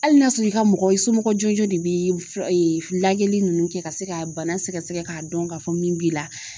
Hali n'a sɔrɔ i ka mɔgɔ i somɔgɔ jɔnjɔn de bɛ lajɛli ninnu kɛ ka se ka bana sɛgɛsɛgɛ k'a dɔn k'a fɔ min b'i la.